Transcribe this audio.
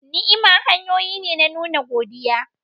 Ni'ima hanyoyi ne na nuna godiya.